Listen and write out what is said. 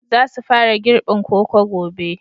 Za su fara girbin koko gobe